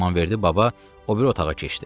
İmamverdi baba o biri otağa keçdi.